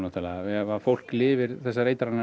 ef fólk lifir þessar eitranir